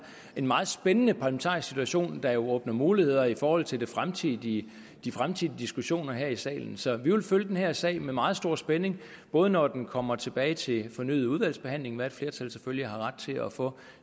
en meget spændende parlamentarisk situation der jo åbner muligheder i forhold til de fremtidige de fremtidige diskussioner her i salen så vi vil følge den her sag med meget stor spænding både når den kommer tilbage til fornyet udvalgsbehandling hvad et flertal selvfølgelig har ret til at få